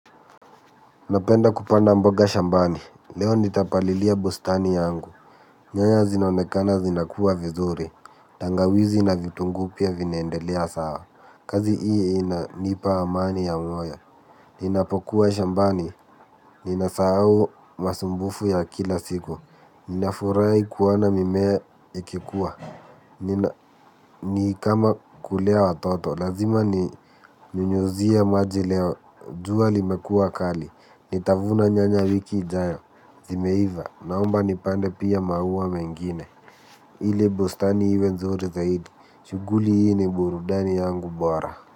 Napenda kupanda mboga shambani, leo nitapalilia bustani yangu. Nyanya zinaonekana zinakua vizuri, tangawizi na vitunguupia vinaendelea sawa. Kazi hii ina nipa amani ya moyo. Ninapokuwa shambani, ninasahau masumbufu ya kila siku. Ninafurahi kuona mimea ikikua. Ni kama kulea watoto, lazima ni nyunyizie maji leo. Jua limekua kali, nitavuna nyanya wiki ijayo, zimeiva, naomba nipande pia maua mengine. Ile bustani iwe nzuri zaidi, shughuli hii ni burudani yangu bora.